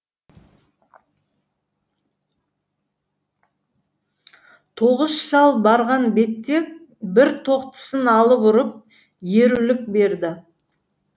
тоғыс шал барған бетте бір тоқтысын алып ұрып ерулік берді